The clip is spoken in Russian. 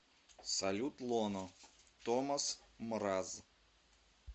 салют лоно томас мраз